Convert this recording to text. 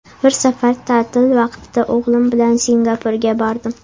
Bir safar ta’til vaqtida o‘g‘lim bilan Singapurga bordim.